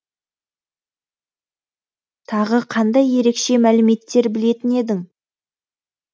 тағы қандай ерекше мәліметтер білетін едің